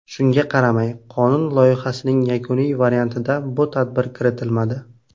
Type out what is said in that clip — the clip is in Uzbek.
Shunga qaramay, qonun loyihasining yakuniy variantida bu tadbir kiritilmadi.